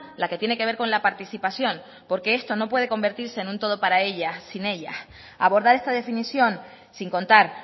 la que tiene que ver con la participación porque esto no puede convertirse en un todo para ella sin ella abordar esta definición sin contar